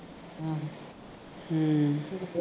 ਹੂੰ